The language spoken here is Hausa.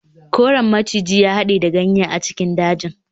Koren maciji ya hade da ganye a cikin dajin.